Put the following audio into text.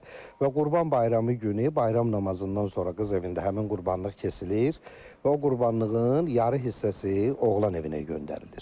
Və Qurban bayramı günü bayram namazından sonra qız evində həmin qurbanlıq kəsilir və o qurbanlığın yarı hissəsi oğlan evinə göndərilir.